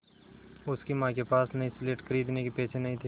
उसकी माँ के पास नई स्लेट खरीदने के पैसे नहीं थे